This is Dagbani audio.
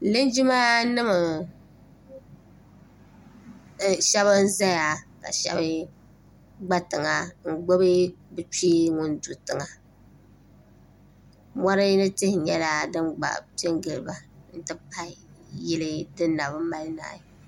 linjima nim shab n ʒɛya ka shab gba tiŋa n gbubi bi kpee ŋun do tiŋa mori ni tihi nyɛla din gba piɛ n giliba n ti pahi yili din nabi mali naai